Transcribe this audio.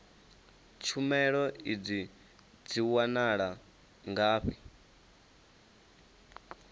tshumelo idzi dzi wanala ngafhi